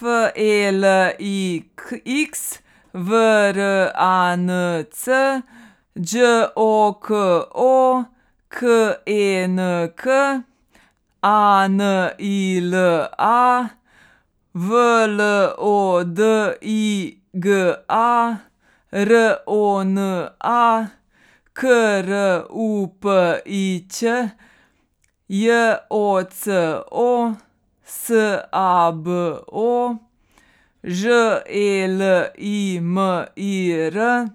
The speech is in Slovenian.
F E L I X, V R A N C; Đ O K O, K E N K; A N I L A, W L O D Y G A; R O N A, K R U P I Ć; J O C O, S A B O; Ž E L I M I R,